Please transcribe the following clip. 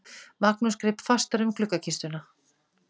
Magnús greip fastar um gluggakistuna.